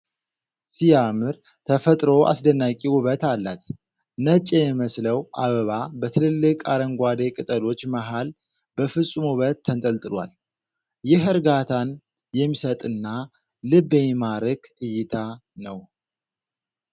ሲያምር! ተፈጥሮ አስደናቂ ውበት አላት። ነጭ የሚመስለው አበባ በትልልቅ አረንጓዴ ቅጠሎች መሃል በፍፁም ውበት ተንጠልጥሏል። ይህ እርጋታን የሚሰጥና ልብ የሚማርክ እይታ ነው።